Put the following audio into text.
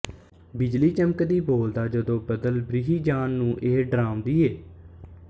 ਬਿਜਲੀ ਚਮਕਦੀ ਬੋਲਦਾ ਜਦੋਂ ਬਦਲ ਬ੍ਰਿਹੀ ਜਾਨ ਨੂੰ ਇਹ ਡਰਾਂਵ ਦੀਏ